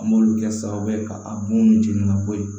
An m'olu kɛ sababu ye ka a bon jeni ka bɔ yen